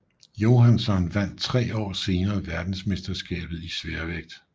Johansson vandt 3 år senere verdensmesterskabet i sværvægt